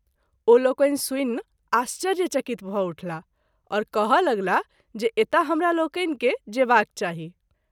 ओ लोकनि सुनि आश्चर्य चकित भ’ उठलाह और कहय लगलाह जे एतय हमरा लोकनि के जेबाक चाही।